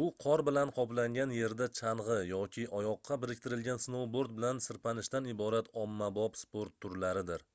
bu qor bilan qoplangan yerda changʻi yoki oyoqqa biriktirilgan snoubord bilan sirpanishdan iborat ommabop sport turlaridir